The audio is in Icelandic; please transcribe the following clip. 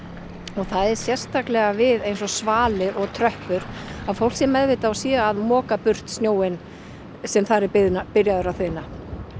og það er sérstaklega við svalir og tröppur að fólk sé meðvitað og sé að moka burt snjóinn sem þar er byrjaður að þiðna